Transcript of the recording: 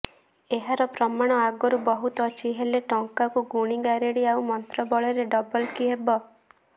ଏହାର ପ୍ରମାଣ ଆଗରୁ ବହୁତ ଅଛି ହେଲେ ଟଙ୍କାକୁ ଗୁଣି ଗାରେଡି ଆଉ ମନ୍ତ୍ର ବଳରେ ଡବଲ କିହେବ